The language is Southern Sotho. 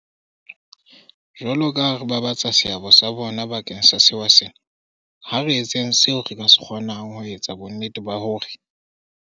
Jwalokaha re babatsa seabo sa bona bakeng sa sewa sena, ha re etseng seo re ka se kgo nang ho etsa bonnete ba hore